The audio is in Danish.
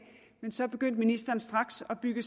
men så begyndte ministeren straks at bygge